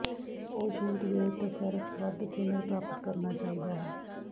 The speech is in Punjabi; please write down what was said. ਉਹ ਸ਼ੀਟ ਦੇ ਟਸਰਫ਼ ਵੱਧ ਥਿਨਰ ਪ੍ਰਾਪਤ ਕਰਨਾ ਚਾਹੀਦਾ ਹੈ